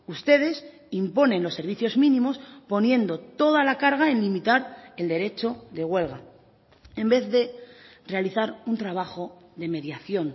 ustedes imponen los servicios mínimos poniendo toda la carga en limitar el derecho de huelga en vez de realizar un trabajo de mediación